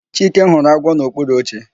Chike hụrụ agwọ n'okpuru oche